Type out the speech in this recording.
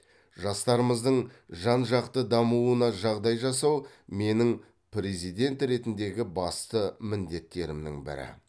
жастарымыздың жан жақты дамуына жағдай жасау менің президент ретіндегі басты міндеттерімнің бірі